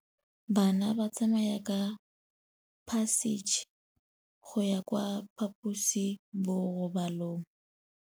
Bana ba tsamaya ka phašitshe go ya kwa phaposiborobalong.